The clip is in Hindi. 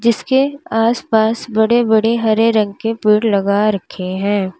इसके आस पास बड़े बड़े हरे रंग के पेड़ लगा रखे है।